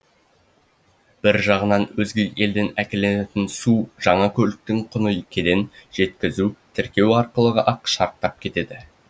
бір жағынан өзге елден әкелінетін су жаңа көліктің құны кеден жеткізу тіркеу арқылы ақ шарықтап кетеді